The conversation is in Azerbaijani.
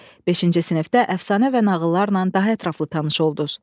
Beşinci sinifdə əfsanə və nağıllarla daha ətraflı tanış olduz.